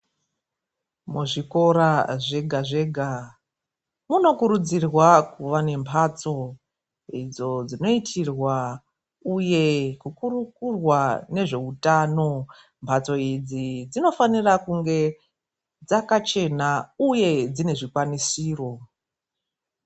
Muzvikora zvega-zvega, munokurudzirwa kuve nemhatso idzo dzinoitirwa uye kukurukurwa nezveutano. Mhatso idzi dzinofanira kunge dzakachena uye dzinezvikwanisiro.